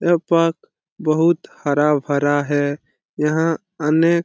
यहाँ पर बहुत हरा-भरा है यहाँ आने --